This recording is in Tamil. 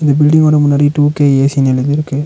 இந்த பில்டிங் ஓட முன்னாடி டூ கே ஏசினு எழுதிருக்கு.